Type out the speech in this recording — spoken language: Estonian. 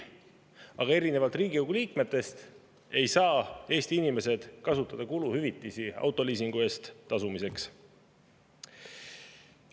Aga erinevalt Riigikogu liikmetest ei saa Eesti inimesed kasutada kuluhüvitisi autoliisingu eest tasumiseks.